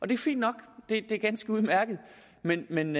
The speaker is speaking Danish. det er fint nok det er ganske udmærket men men